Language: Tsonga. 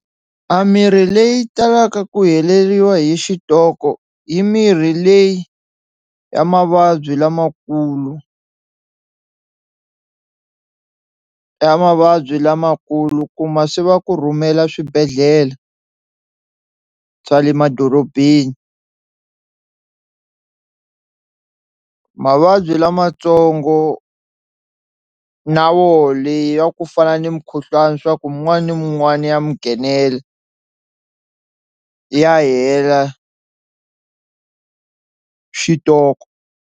A mirhi leyi talaka ku heleriwa hi xitoko hi mirhi leyi ya mavabyi lamakulu ya mavabyi lamakulu kuma se va ku rhumela swibedlhhlele swa le madorobeni mavabyi lamatsongo na woho leyi ya ku fana ni mukhuhlwani swa ku mun'wana na mun'wana ya mi nghenela ya hela xitoko.